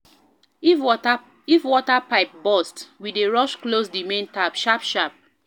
If water pipe burst, we dey rush close di main tap sharp-sharp.